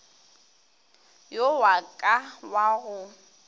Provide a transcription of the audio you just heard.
yo wa ka wa go